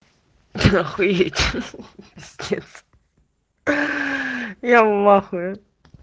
охуеть хаха пиздец я в ахуе